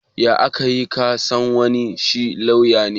Ya aka yi ka san wai shi lauya ne?